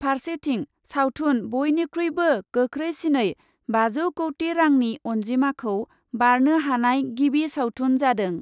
फार्सेथिं सावथुन बयनिख्रुइबो गोख्रैसिनै बाजौ कौटि रांनि अन्जिमाखौ बारनो हानाय गिबि सावथुन जादों ।